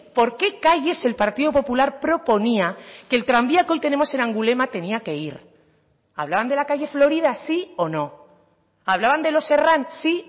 por qué calles el partido popular proponía que el tranvía que hoy tenemos en angulema tenía que ir hablaban de la calle florida sí o no hablaban de los herrán sí